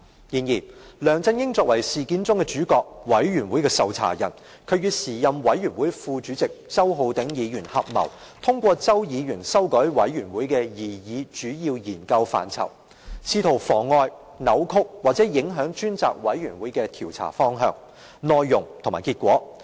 然而，梁振英作為事件中的主角、專責委員會的受查人，他與時任專責委員會副主席周浩鼎議員合謀，通過周議員修改專責委員會的擬議主要研究範疇，試圖妨礙、歪曲或影響專責委員會的調查方向、內容和結果。